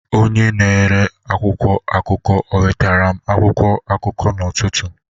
Onye na-ere akwụkwọ akụkụ o nwetere m akwụkwọ akụkụ n'ụtụtụ?